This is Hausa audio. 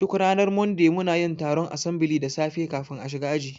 Duk ranar Monday munayin taron asambili da safe kafin a shiga aji